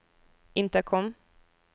intercom